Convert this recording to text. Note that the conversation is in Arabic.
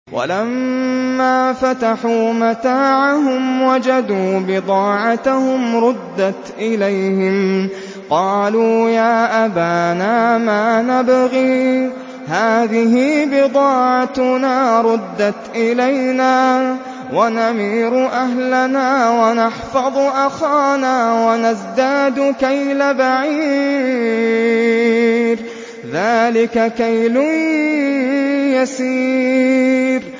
وَلَمَّا فَتَحُوا مَتَاعَهُمْ وَجَدُوا بِضَاعَتَهُمْ رُدَّتْ إِلَيْهِمْ ۖ قَالُوا يَا أَبَانَا مَا نَبْغِي ۖ هَٰذِهِ بِضَاعَتُنَا رُدَّتْ إِلَيْنَا ۖ وَنَمِيرُ أَهْلَنَا وَنَحْفَظُ أَخَانَا وَنَزْدَادُ كَيْلَ بَعِيرٍ ۖ ذَٰلِكَ كَيْلٌ يَسِيرٌ